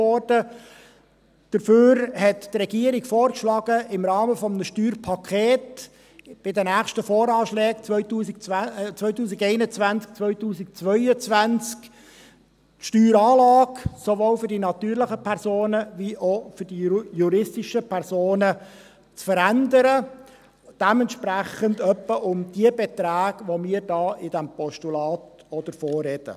Stattdessen hat die Regierung vorgeschlagen, im Rahmen eines Steuerpakets bei den nächsten Voranschlägen 2021/22 die Steueranlage sowohl für die natürlichen Personen wie auch für die juristischen Personen zu verändern, ungefähr den Beträgen entsprechend, von denen wir auch in diesem Postulat sprechen.